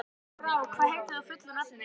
Brák, hvað heitir þú fullu nafni?